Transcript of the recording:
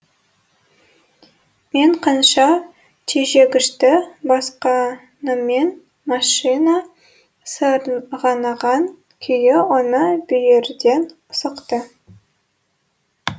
мен қанша тежегішті басқаныммен машина сырғанаған күйі оны бүйірден соқты